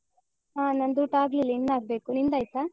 ಹ ನಂದ್ ಊಟ ಆಗ್ಲಿಲ್ಲ ಇನ್ ಆಗ್ಬೇಕು. ನಿಂದ್ ಆಯ್ತಾ?